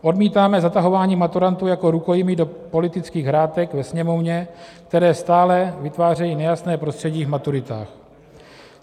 Odmítáme zatahování maturantů jako rukojmí do politických hrátek ve Sněmovně, které stále vytvářejí nejasné prostředí v maturitách.